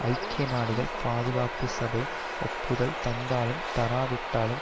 ஐக்கிய நாடுகள் பாதுகாப்பு சபை ஒப்புதல் தந்தாலும் தராவிட்டாலும்